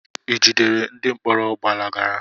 I jidere ndị mkpọrọ gbalagara?